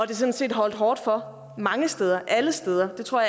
det sådan set holdt hårdt mange steder alle steder det tror